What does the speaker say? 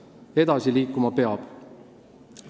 Aga edasi liikuma peab.